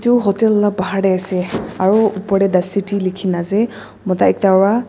Tu hotel la bahar te ase aro upor tey tysity lekhe kena ase mota ekta bra.